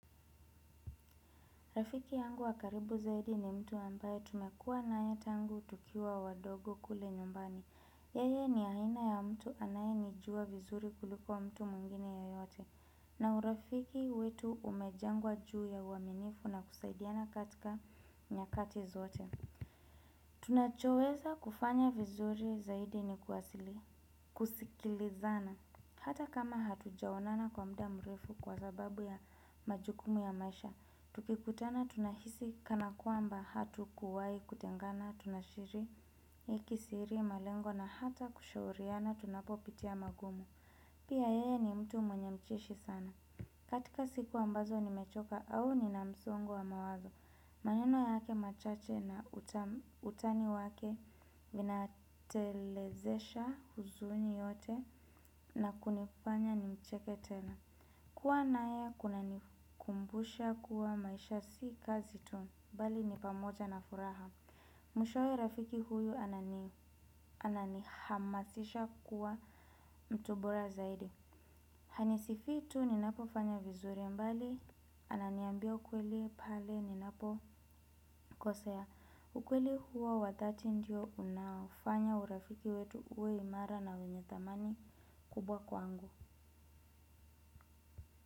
Rafiki yangu wakaribu zaidi ni mtu ambaye tumekua na ya tangu tukiwa wadogo kule nyumbani. Yeye ni haina ya mtu anayeni juwa vizuri kuliko mtu muingine yeyote. Na urafiki wetu umejengwa juu ya uaminifu na kusaidiana katika nyakati zote. Tunachoweza kufanya vizuri zaidi ni kuasili kusikilizana. Hata kama hatujaonana kwa mda mrefu kwa sababu ya majukumu ya maisha. Tuki kutana tunahisi kana kuamba hatukuwai kutengana tunashiriki siri, malengo na hata kushauriana tunapopitia magumu. Pia yeye ni mtu mwenye ucheshi sana. Katika siku ambazo nimechoka au nina msongo wa mawazo. Maneno yake machache na utani wake vinatelezesha huzuni yote na kunifanya ni mcheke tena. Kuwa naye kunanikumbusha kuwa maisha si kazi tu bali ni pamoja na furaha. Mwishowe rafiki huyu anani hamasisha kuwa mtu bora zaidi. Hanisifi tu ninapo fanya vizuri mbali ananiambia ukweli pale ninapo kosa ya ukweli huo wakati ndio unafanya urafiki wetu uwe imara na wenye thamani kubwa kwangu.